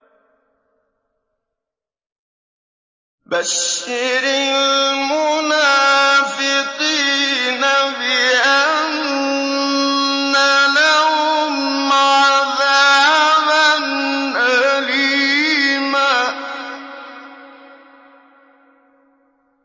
بَشِّرِ الْمُنَافِقِينَ بِأَنَّ لَهُمْ عَذَابًا أَلِيمًا